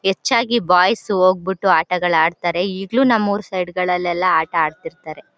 ಹೆಚ್ಚಾಗಿ ಬಾಯ್ಸ್ ಹೋಗ್ಬಿಟ್ಟು ಆಟಗಳ್ ಆಡ್ತಿರ್ತಾರೆ. ಈಗ್ಲೂ ನಮ್ಮ ಊರು ಸೈಡ್ ಗಳಲ್ಲಿ ಎಲ್ಲ ಆಟ ಆಡ್ತಿರ್ತಾರೆ.